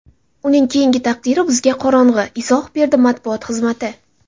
Uning keyingi taqdiri bizga qorong‘u”, izoh berdi matbuot xizmati.